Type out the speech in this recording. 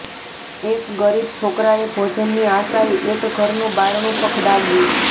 એક ગરીબ છોકરાએ ભોજનની આશાએ એક ઘરનું બારણું ખખડાવ્યું